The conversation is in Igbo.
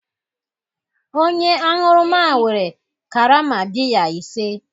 Onye aṅụrụma were karama biya ise